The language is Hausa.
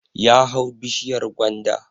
Ya hau bishiyar gwanda